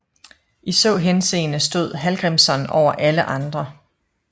I så henseende stod Hallgrímsson over alle andre